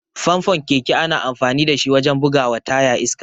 Famfon keke ana amfani dashi wajen bugawa taya iska.